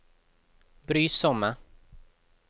brysomme